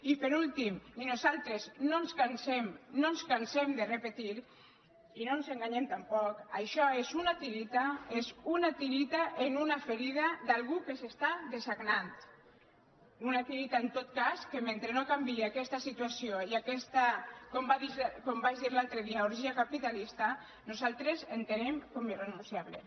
i per últim nosaltres no ens cansem no ens cansem de repetir i no ens enganyem tampoc això és una tireta és una tireta en una ferida d’algú que s’està dessagnant una tireta en tot cas que mentre no canvie aquesta situació i aquesta com vaig dir l’altre dia orgia capitalista nosaltres entenem com a irrenunciable